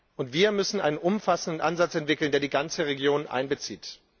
Und wir müssen einen umfassenden Ansatz entwickeln, der die ganze Region einbezieht.